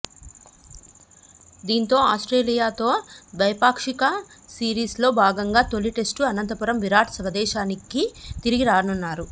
దీంతో ఆస్ట్రేలియాతో ద్వైపాక్షిక సిరీస్లో భాగంగా తొలి టెస్టు అనంతరం విరాట్ స్వదేశానికి తిరిగి రానున్నారు